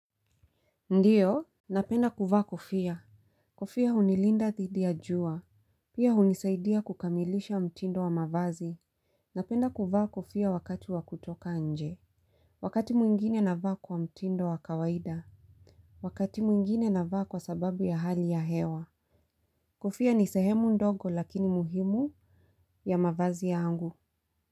Ndiyo? Napenda kuvaa kofia. Kofia hunilinda dhidi ya jua. Pia hunisaidia kukamilisha mtindo wa mavazi. Napenda kuvaa kofia wakati wa kutoka nje. Wakati mwingine navaa kwa mtindo wa kawaida. Wakati mwingine na vaa kwa sababu ya hali ya hewa. Kofia ni sehemu ndogo lakini muhimu ya mavazi yangu.